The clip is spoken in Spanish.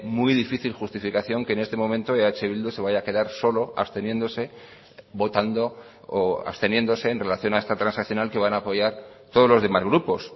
muy difícil justificación que en este momento eh bildu se vaya a quedar solo absteniéndose votando o absteniéndose en relación a esta transaccional que van a apoyar todos los demás grupos